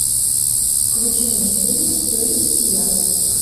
включи мне фильм принц и я